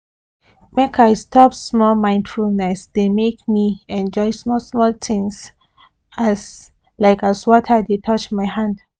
make i stop small mindfulness dey make me enjoy small small things like as water dey touch my hand